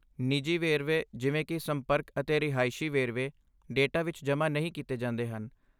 ਨਿੱਜੀ ਵੇਰਵੇ ਜਿਵੇਂ ਕਿ ਸੰਪਰਕ ਅਤੇ ਰਿਹਾਇਸ਼ੀ ਵੇਰਵੇ ਡੇਟਾ ਵਿੱਚ ਜਮ੍ਹਾਂ ਨਹੀਂ ਕੀਤੇ ਜਾਂਦੇ ਹਨ।